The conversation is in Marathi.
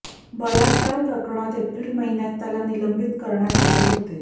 बलात्कार प्रकरणात एप्रिल महिन्यात त्याला निलंबित करण्यात आले होते